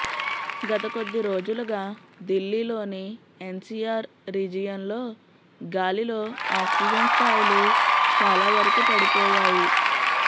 గత కొద్ది రోజులుగా దిల్లీలోని ఎన్సీఆర్ రీజియన్లో గాలిలో ఆక్సిజన్ స్థాయులు చాలా వరకు పడిపోయాయి